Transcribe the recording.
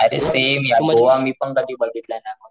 अरे सेम यार गोवा मी पण कधी बघितलं नाही,